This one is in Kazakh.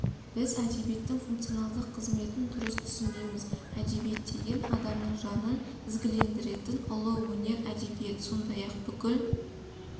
біз әдебиеттің функционалдық қызметін дұрыс түсінбейміз әдебиет деген адамның жанын ізгілендіретін ұлы өнер әдебиет сондай-ақ бүкіл